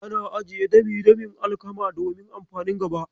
Ana ajiye dami-damin alkama domin amfanin gaba.